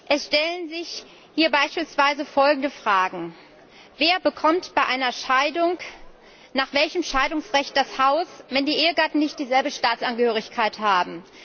Es stellen sich hier beispielsweise folgende Fragen Wer bekommt bei einer Scheidung nach welchem Scheidungsrecht das Haus, wenn die Ehegatten nicht dieselbe Staatsangehörigkeit haben?